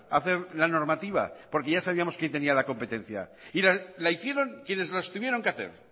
hacer la normativa porque ya sabíamos quien tenía la competencia y la hicieron quienes las tuvieron que hacer